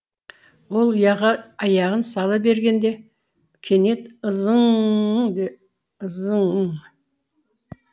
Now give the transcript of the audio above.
ол ұяға аяғын сала бергенде кенет ызың ң ң де ызың ң